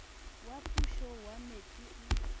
wa pušo wa metse o